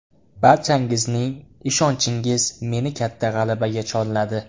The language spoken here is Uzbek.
Barchangizning ishonchingiz meni katta g‘alabaga chorladi.